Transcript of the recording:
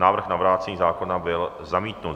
Návrh na vrácení zákona byl zamítnut.